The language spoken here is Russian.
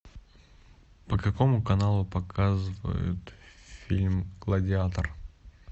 по какому каналу показывают фильм гладиатор